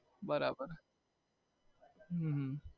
હમ બરાબર